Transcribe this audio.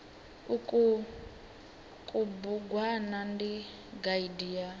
uku kubugwana ndi gaidi ya